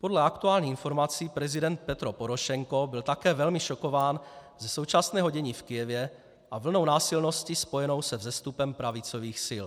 Podle aktuálních informací prezident Petro Porošenko byl také velmi šokován ze současného dění v Kyjevě a vlnou násilností spojenou se vzestupem pravicových sil.